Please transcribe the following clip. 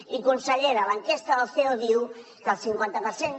i consellera l’enquesta del ceo diu que el cinquanta per cent